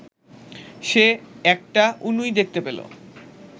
সে একটা উনুই দেখতে পেল